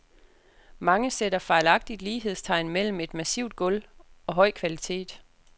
Mange sætter fejlagtigt lighedstegn mellem et massivt gulv og høj kvalitet.